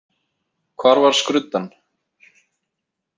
Hvar var skruddan?